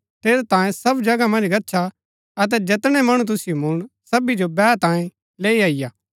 ठेरैतांये सब जगह मन्ज गच्छा अतै जैतणै मणु तुसिओ मुळन सवी जो बैह तांयें लैई अईआ